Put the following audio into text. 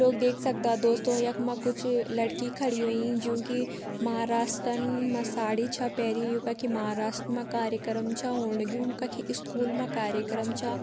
लोग देख सक्दा दोस्तों यख मा कुछ लड़की खड़ी वेईं ज्यूं की महारासटन म साडी छ पैरि। यूं कक महाराष्ट मा कार्यक्रम छ होंण लग्यूं। कखि इस्कूल मां कार्यक्रम छा।